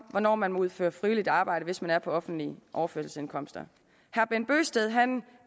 hvornår man må udføre frivilligt arbejde hvis man er på offentlige overførselsindkomster herre bent bøgsted